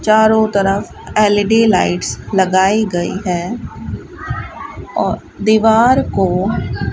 चारों तरफ L E D lights लगाई गई है और दीवार को --